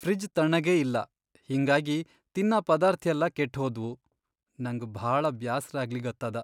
Fridge ಥಣ್ಣಗೇ ಇಲ್ಲಾ ಹಿಂಗಾಗಿ ತಿನ್ನ ಪದಾರ್ಥ್ ಯೆಲ್ಲಾ ಕೆಟ್ಹೋದ್ವು, ನಂಗ್ ಭಾಳ ಬ್ಯಾಸರಾಗ್ಲಿಗತ್ತದ.